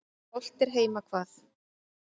Hollt er heima hvað.